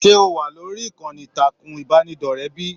Se o wà lórí ìkànnì ìtàkùn ìbánidọ̀rẹ̀ bíi?